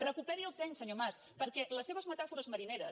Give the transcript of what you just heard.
recuperi el seny senyor mas perquè les seves metàfores marineres